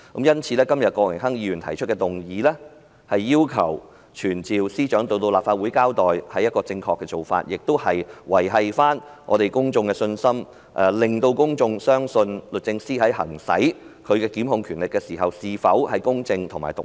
因此，今天郭榮鏗議員提出的議案，要求傳召司長到立法會交代，是正確的做法，亦可挽回公眾的信心，令公眾相信律政司在行使其檢控權力時，是否公正及獨立。